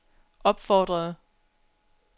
opfordrede